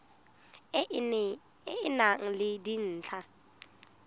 e e nang le dintlha